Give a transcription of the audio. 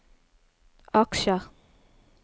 aksjer